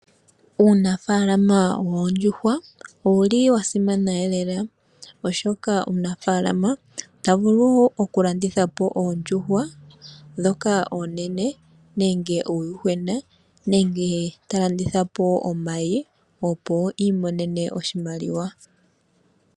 Uunafaalama woondjuhwa, owuli wasimana elela, oshoka omunafaalama ota vulu okulandithapo oondjuhwa ndhoka oonene, nenge uuyuhwena, nenge talandithapo omayi, opo iimonene oshimaliwa.